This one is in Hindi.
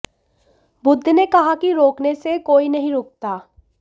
बुद्ध ने कहा कि रोकने से कोई नहीं रुकता